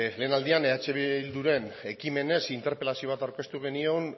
lehen aldian eh bilduren ekimenez interpelazio bat aurkeztu genion